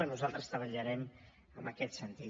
nosaltres treballarem en aquest sentit